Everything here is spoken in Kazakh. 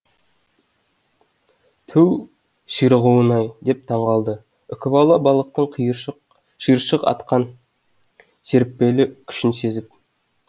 түу ширығуын ай деп таңғалды үкібала балықтың шиыршық атқан серіппелі күшін сезіп